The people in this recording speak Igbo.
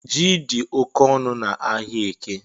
Ji di oke onu n’Ahịaeke